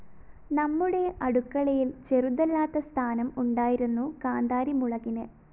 നമ്മുടെ അടുക്കളയില്‍ ചെറുതല്ലാത്ത സ്ഥാനം ഉണ്ടായിരുന്നു കാന്താരി മുളകിന്